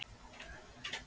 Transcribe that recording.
Bolvíkingar að gjalda?